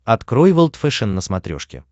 открой волд фэшен на смотрешке